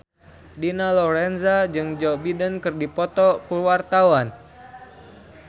Dina Lorenza jeung Joe Biden keur dipoto ku wartawan